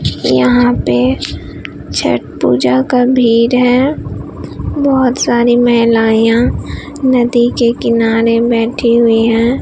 कि यहां पे छठ पूजा का भीड़ है बहुत सारे महिलाएं यहां नदी के किनारे बैठी हुई हैं।